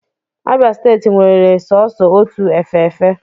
Abia steeti nwere sọọsọ otu efe efe.